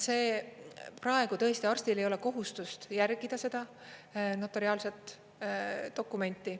Praegu tõesti arstil ei ole kohustust järgida seda notariaalset dokumenti.